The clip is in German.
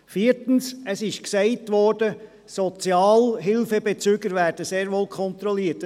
Viertens, es wurde gesagt, Sozialhilfebezüger würden sehr wohl kontrolliert.